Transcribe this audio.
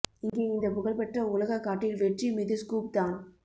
இங்கே இந்த புகழ்பெற்ற உலக காட்டில் வெற்றி மீது ஸ்கூப் தான்